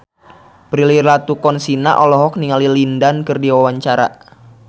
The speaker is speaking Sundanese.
Prilly Latuconsina olohok ningali Lin Dan keur diwawancara